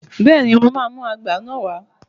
Bẹ́ẹ̀ ni, màá mú àgbá náà wá.